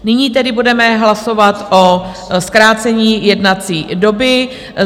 Nyní tedy bude hlasovat o zkrácení jednací doby.